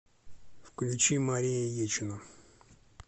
включи мария ечина